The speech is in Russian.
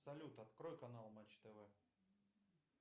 салют открой канал матч тв